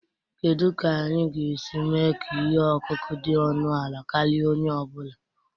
Kedu ka anyị ga-esi mee ka ihe ọkụkụ dị ọnụ ala karịa onye ọ bụla?